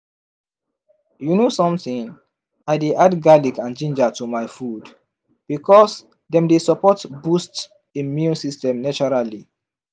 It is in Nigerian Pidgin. you know something i dey add garlic and ginger to my food because dem dey support boost immune system naturally